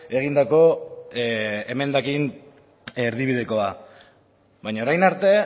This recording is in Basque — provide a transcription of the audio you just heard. egindako emendakin erdibidekoa baina orain arte